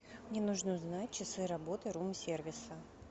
мне нужно узнать часы работы рум сервиса